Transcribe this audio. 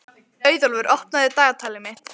Auðólfur, opnaðu dagatalið mitt.